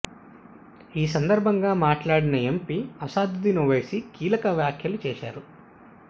ఈ సందర్భంగా మాట్లాడిన ఎంపీ అసదుద్దీన్ ఓవైసీ కీలక వ్యాఖ్యలు చేశారు